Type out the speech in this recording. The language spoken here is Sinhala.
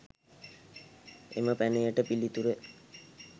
එම පැනයට පිළිතුර